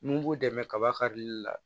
Mun b'u dɛmɛ kaba karili la